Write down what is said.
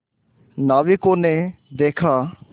नाविकों ने देखा